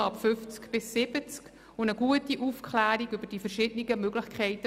Zudem braucht es eine gute Aufklärung über die verschiedenen Testmöglichkeiten.